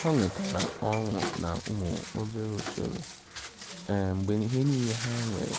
ha nwetara ọṅụ na umu obere usoro mgbe ihe niile ha nwere